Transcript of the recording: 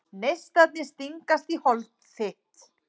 Neistarnir stingast í hold þitt.